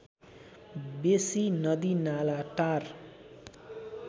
बेसी नदीनाला टार